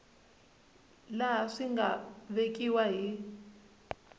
laha swi nga vekiwa hi